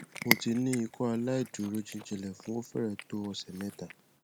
mo ti ni ikọaláìdúró jijinlẹ fun o fẹrẹ to ọsẹ mẹta